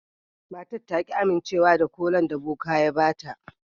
Matar ta ki amincewa da kolan da boka ya ba ta.